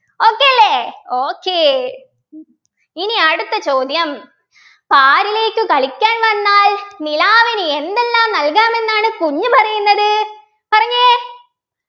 okay അല്ലെ okay ഇനി അടുത്ത ചോദ്യം പാരിലേക്കു കളിക്കാൻ വന്നാൽ നിലാവിന് എന്തെല്ലാം നൽകാമെന്നാണ് കുഞ്ഞ് പറയുന്നത് പറഞ്ഞെ